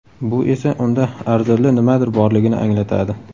Bu esa unda arzirli nimadir borligini anglatadi.